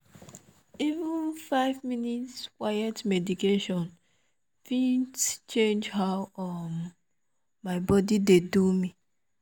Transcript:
even five minutes quiet meditation fit change how um my body dey do me.